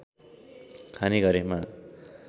खाने गरेमा